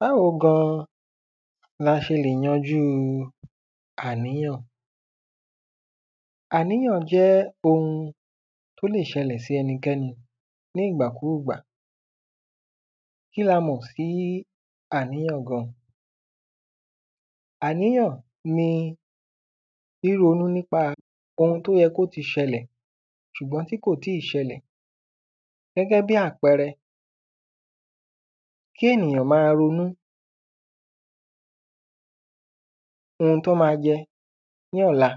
Báwo gan la ṣe lè yanjú àníyàn. Àníyàn jẹ́ ohun tó le ṣẹlẹ̀ sí ẹnikẹ́ni ní ìgbàkúgbà kíni a mọ̀ sí àníyàn gan? Àníyàn ni ríronú nípa ohun tó yẹ kó ti ṣẹlẹ̀ ṣùgbọ́n tí kò tí ṣẹlẹ̀ gẹ́gẹ́ bí àpẹrẹ. Kí ènìyàn má ronú ohun tó má jẹ ní ọ̀la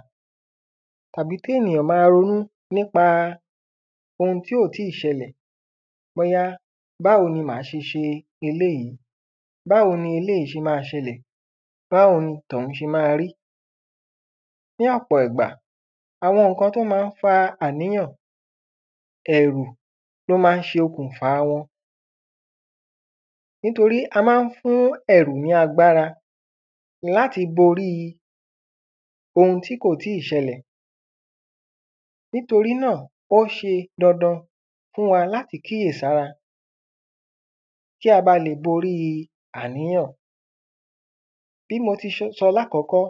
tàbí kí ènìyàn má ronú nípa ohun tí ò tí ṣẹlẹ̀ bóyá báwo ni mà á ṣe ṣe eléèjí bóyá báwo ni eléèjí ṣe má ṣe ṣẹlẹ̀ báwo ni tọ̀hún ṣe má rí. Ní ọ̀pọ̀ ìgbà àwọn nǹkan tó má ń fa àníyàn ẹ̀rù ni ó má ń ṣe okùnfà wọn nítorí a má ń fún ẹ̀rù ní agbára láti bórí ohun tí kò tí ṣẹlẹ̀. Nítorí náà ó ṣe dandan láti kíyèsí ara kí a ba lè borí àníyàn. Bí mo ti ṣe sọ lákọ́kọ́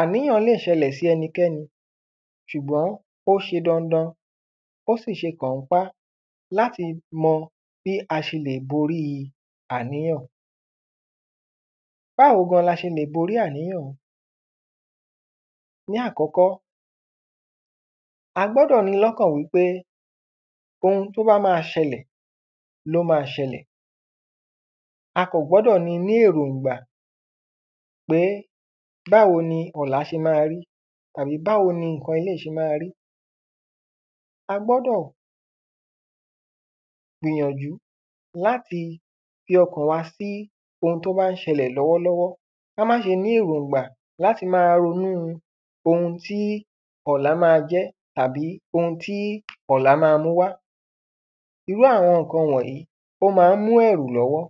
àníyàn le ṣẹlẹ̀ sẹ́nikẹ́ni ṣùgbọ́n ó ṣe dandan ó sì ṣe pọ̀npọ́n láti mọ bí a ṣe lè borí àníyàn. Báwo gan la ṣe lè borí àníyàn ní àkọ́kọ́ a gbọ́dọ̀ ní lọ́kàn wípé ohun tó bá má ṣẹlẹ̀ má ṣẹlẹ̀ a kàn gbọ́dọ̀ ní ní èròngbà pé báwo ni ọ̀la ṣe má rí tàbí báwo ni nǹkan eléèyí ṣe má rí. A gbọ́dọ̀ gbìyànjú láti fi ọkàn wa sí ohun tó bá ń ṣẹlẹ̀ lọ́wọ́ lọ́wọ́ ká má ṣe ní èròngbà láti má ronú ohun tí ọ̀la má jẹ́ àbí ohun tí ọ̀la má múwá irú àwọn nǹkan wọ̀nyìí ó má ń mú ẹ̀rù lọ́wọ́.